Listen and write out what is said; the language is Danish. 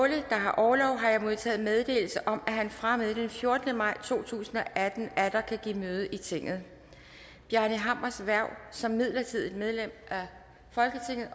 der har orlov har jeg modtaget meddelelse om at han fra og med den fjortende maj to tusind og atten atter kan give møde i tinget bjarni hammers hverv som midlertidigt medlem